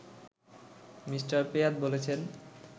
Me. Pyatt বলেছেন